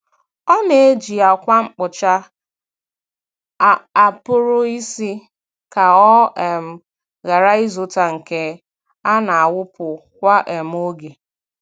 Ọ na-eji ákwà mkpocha a pụrụ ịsa ka ọ um ghara ịzụta nke a na-awụpụ kwa um oge.